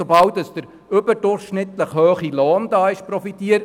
Sobald ein überdurchschnittlicher Lohn vorhanden ist, wird profitiert.